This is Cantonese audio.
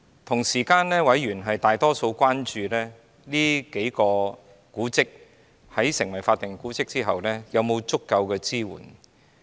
同時，委員大多數關注這數幢建築物在成為法定古蹟後，會否獲得足夠的支援。